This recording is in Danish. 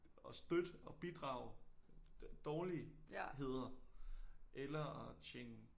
At støtte og bidrage dårligheder eller tjene